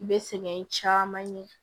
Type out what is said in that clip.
I bɛ sɛgɛn caman ye